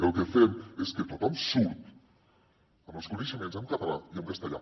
el que fem és que tothom surt amb els coneixements en català i en castellà